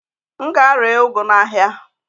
M gaa ree ụgụ a n'ahịa?